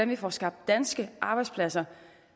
vi får skabt danske arbejdspladser